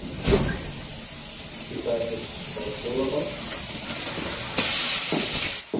Til dæmis á skólaball.